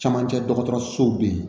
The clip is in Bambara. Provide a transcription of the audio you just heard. Camancɛ dɔgɔtɔrɔsow be yen